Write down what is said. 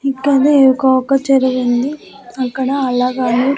ఇక్కడే ఒక ఒక చెరువు ఉంది అక్కడ అలా గాగుర్ --